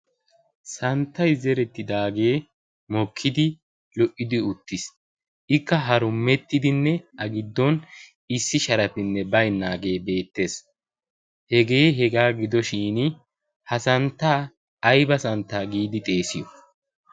santtay zeridaagee mokkidi lo''idi uttiis. ikka harumettidinne a giddon issi sharappinne baynnage beettees. hega hega gidoshin ha santta aybba santta giidi xeesiyo?